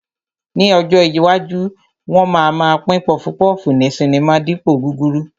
Ní ọjọ́ iwájú, wọn máa ma pín pọfupọ́ọ̀fù ní sinimá dípòo gúrúrú